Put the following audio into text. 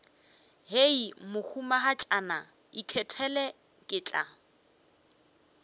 hei mohumagatšana ikgethele ke tla